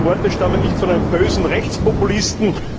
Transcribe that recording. Diese Worte stammen nicht von einem bösen Rechtspopulisten.